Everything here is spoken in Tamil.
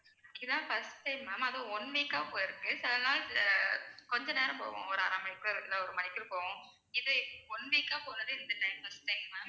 இது தான் first time ma'am அதும் one week அ போயிருக்கு சில நாள் ஆஹ் கொஞ்சம் நேரம் போகும் அரை மணி ஒருக்க இல்ல ஒரு மணி ஒருக்கா போகும் இது one week அ போனது இந்த time first time ma'am